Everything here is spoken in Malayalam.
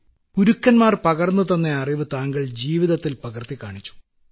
പ്രധാനമന്ത്രി ഗുരുക്കൻമാർ പകർന്നുതന്ന അറിവ് താങ്കൾ ജീവിതത്തിൽ പകർത്തിക്കാണിച്ചു